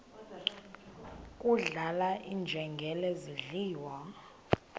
kudlala iinjengele zidliwa